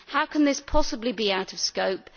How can this possibly be out of scope?